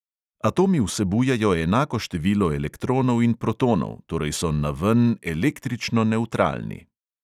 Atomi vsebujejo enako število elektronov in protonov, torej so naven električno nevtralni.